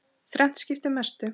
Þrennt skipti mestu.